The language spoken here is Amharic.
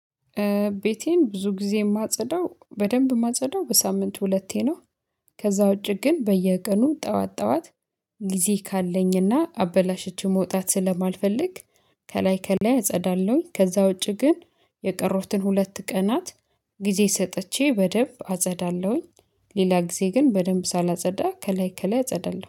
ቤቴን ብዙ ጊዜ የማጸዳው በደንብ ማጸዳው በሳምንት ሁለቴ ነው። ከዛ ውጪ ግን በየቀኑ ጠዋት ጠዋት ጊዜ ካለኝ እና አበላሸችው መውጣት ስለማልፈልግ። ከላይ ከላይ አጸዳለሁኝ ከዛ ውጪ ግን የቀሩትን ሁለት ቀናት ጊዜ ሰጥቼ በደንብ አጸዳለሁኝ። ሌላ ጊዜ ግን በደንብ ሳላጸዳ ከላይ ከላይ አጸዳለሁ